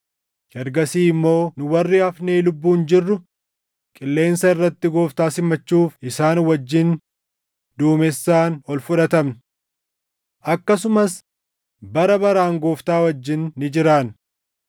Ergasii immoo nu warri hafnee lubbuun jirru qilleensa irratti Gooftaa simachuuf isaan wajjin duumessaan ol fudhatamna. Akkasumas bara baraan Gooftaa wajjin ni jiraanna.